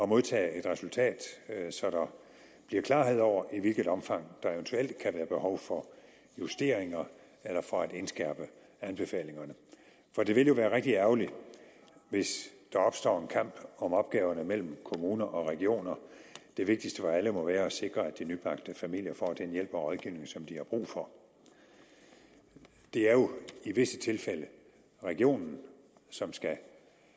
modtage et resultat så der bliver klarhed over i hvilket omfang der eventuelt kan være behov for justeringer eller for at indskærpe anbefalingerne det ville jo være rigtig ærgerligt hvis der opstår en kamp om opgaverne mellem kommuner og regioner det vigtigste for alle må være at sikre at de nybagte familier får den hjælp og rådgivning som de har brug for det er jo i visse tilfælde regionen som skal